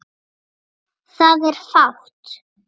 Það er fátt.